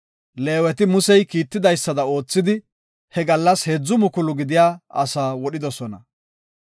Leeweti Musey kiitidaysada oothidi, he gallas heedzu mukulu gidiya asaa wodhidosona.